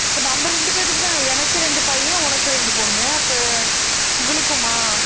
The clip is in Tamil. இப்ப நம்ம ரெண்டு பேத்துக்கும் தான் எனக்கு ரெண்டு பையன் உனக்கு ரெண்டு பொண்ணு அப்ப இவளுக்குமா